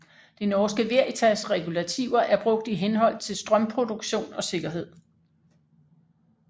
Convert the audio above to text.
Det Norske Veritas regulativer er brugt i henhold til strømproduktion og sikkerhed